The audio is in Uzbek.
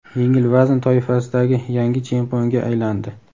yengil vazn toifasidagi yangi chempionga aylandi.